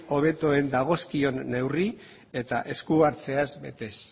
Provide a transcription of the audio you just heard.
hobetuen datozkien neurri eta eskuhartzeaz betez